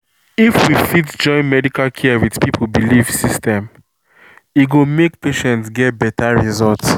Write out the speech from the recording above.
if we fit join medical care with people belief system e go make patient get better result.